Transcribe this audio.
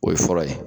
O ye fɔlɔ ye